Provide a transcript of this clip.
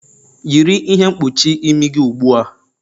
Yiri ihe mkpuchi imi gị ugbua!